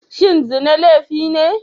Shin zina laifi ne?